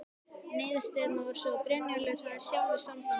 Niðurstaðan varð sú að Brynjólfur hefði sjálfur samband við